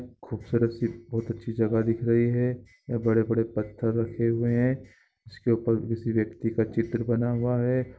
खूबसूरत सी बहुत अची जगह दिख रही हे बड़े - बड़े पत्थर रखे हुए हे इस के उपर किसे व्यक्ति का चित्रः बना हुआ हैं।